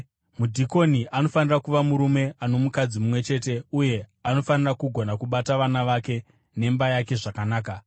Mudhikoni anofanira kuva murume ano mukadzi mumwe chete uye anofanira kugona kubata vana vake nemba yake zvakanaka.